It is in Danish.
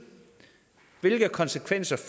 hvilke konsekvenser det